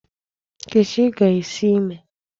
Nkechi ga-esi ime.